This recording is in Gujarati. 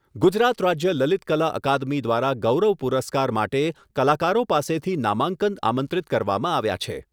ગુજરાત રાજ્ય લલિતકલા અકાદમી દ્વારા ગૌરવ પુરસ્કાર માટે કલાકારો પાસેથી નામાંકન આમંત્રિત કરવામાં આવ્યા છે.